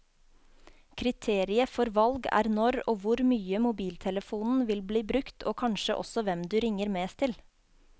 Kriteriet for valg er når og hvor mye mobiltelefonen vil bli brukt, og kanskje også hvem du ringer mest til.